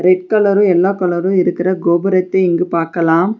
Red colour yellow colour இருக்குற கோபுரத்தை இங்கு பாக்கலா.